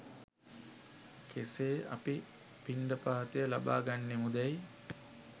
කෙසේ අපි පිණ්ඩපාතය ලබා ගන්නෙමුදැයි